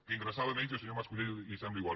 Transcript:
que ingressava menys al senyor mas colell li sembla igual